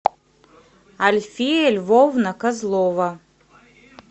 альфея львовна козлова